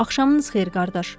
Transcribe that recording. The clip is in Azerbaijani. Axşamınız xeyir qardaş!